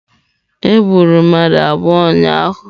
Egburu mmadụ abụọ ụnyahụ.